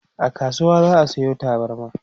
a kasuwa za'a Sayo tabarma